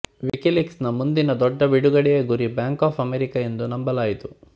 WikiLeaks ನ ಮುಂದಿನ ದೊಡ್ಡ ಬಿಡುಗಡೆಯ ಗುರಿ ಬ್ಯಾಂಕ್ ಆಫ್ ಅಮೇರಿಕಾ ಎಂದು ನಂಬಲಾಯಿತು